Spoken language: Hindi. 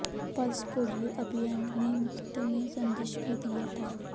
पल्स पोलियो अभियान में मुफ्त में संदेश भी दिया था